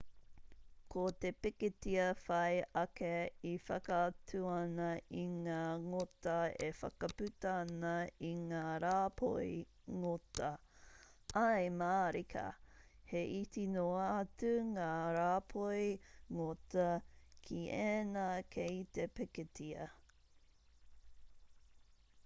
ko te pikitia whai ake e whakaatu ana i ngā ngota e whakaputa ana i ngā rāpoi ngota ae mārika he iti noa atu ngā rāpoi ngota ki ēnā kei te pikitia